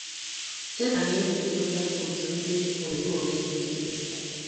Setan ewulitela òtù ndị omekome dị ike.